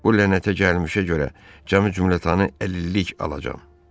Bu lənətə gəlmişə görə cəmi cümlətanın əlillik alacam.